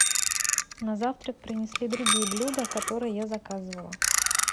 на завтрак принесли другие блюда которые я заказывала